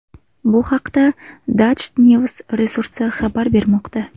Bu haqda DutchNews resursi xabar bermoqda .